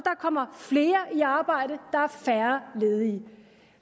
kommer flere i arbejde der er færre ledige